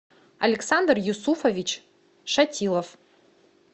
александр юсуфович шатилов